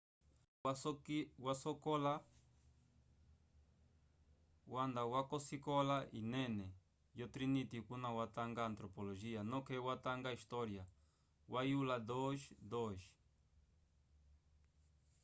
charle wanda kosikola yinene ko trinity kuna watanga antropologia noke watanga história wa yula 2:2